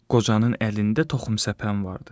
Qocanın əlində toxum səpən vardı.